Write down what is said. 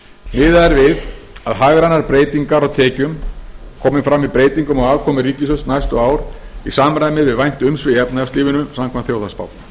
er við að hagrænar breytingar á tekjum komi fram í breytingum á afkomu ríkissjóðs næstu ár í samræmi við vænt umsvif í efnahagslífinu samkvæmt þjóðhagsspá